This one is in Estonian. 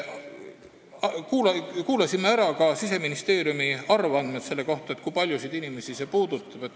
Kuulasime ära Siseministeeriumi arvandmed selle kohta, kui paljusid inimesi see puudutab.